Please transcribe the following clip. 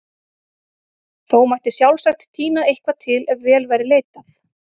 Þó mætti sjálfsagt tína eitthvað til ef vel væri leitað.